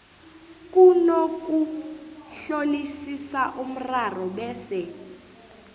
kunokuhlolisisa umraro bese